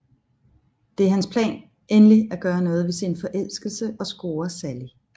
Det er hans plan endelig at gøre noget ved sin forelskelse og score Sally